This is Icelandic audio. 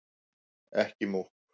Ekki múkk